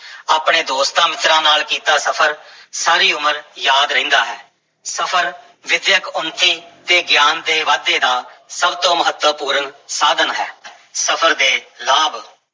ਆਪਣੇ ਦੋਸਤਾਂ-ਮਿੱਤਰਾਂ ਨਾਲ ਕੀਤਾ ਸਫ਼ਰ ਸਾਰੀ ਉਮਰ ਯਾਦ ਰਹਿੰਦਾ ਹੈ, ਸਫ਼ਰ ਵਿੱਦਿਅਕ ਉੱਨਤੀ ਤੇ ਗਿਆਨ ਦੇ ਵਾਧੇ ਦਾ ਸਭ ਤੋਂ ਮਹੱਤਵਪੂਰਨ ਸਾਧਨ ਹੈ ਸਫ਼ਰ ਦੇ ਲਾਭ